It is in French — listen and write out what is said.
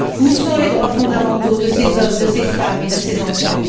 Où sont les droits fondamentaux de ces hommes, de ces femmes et de ces enfants?